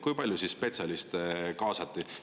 Kui palju spetsialiste kaasati?